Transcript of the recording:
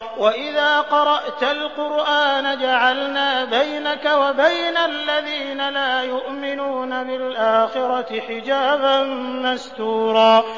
وَإِذَا قَرَأْتَ الْقُرْآنَ جَعَلْنَا بَيْنَكَ وَبَيْنَ الَّذِينَ لَا يُؤْمِنُونَ بِالْآخِرَةِ حِجَابًا مَّسْتُورًا